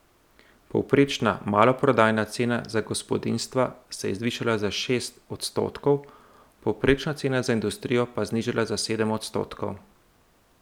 Povprečna maloprodajna cena za gospodinjstva se je zvišala za šest odstotkov, povprečna cena za industrijo pa znižala za sedem odstotkov.